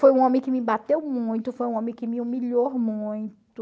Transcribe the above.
Foi um homem que me bateu muito, foi um homem que me humilhou muito.